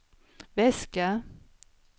väska